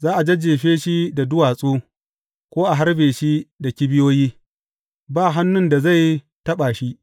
Za a jajjefe shi da duwatsu, ko a harbe shi da kibiyoyi, ba hannun da zai taɓa shi.